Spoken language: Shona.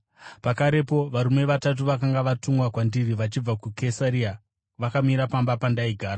“Pakarepo varume vatatu vakanga vatumwa kwandiri vachibva kuKesaria vakamira pamba pandaigara.